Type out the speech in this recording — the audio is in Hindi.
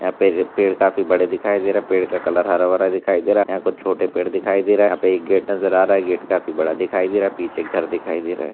यहाँ पेड़ पेड़ काफी बड़े दिखाई दे रहे है पेड़ का कलर हरा भरा दिखाई दे रहा है यहाँ कुछ छोटे पेड़ दिखाई दे रहे है यहाँ पे एक गेट नजर आ रहा है गेट काफी बड़ा दिखाई दे रहा है पीछे घर दिखाई दे रहे है।